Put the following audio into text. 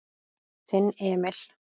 Þinn Emil.